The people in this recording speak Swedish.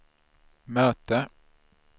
möte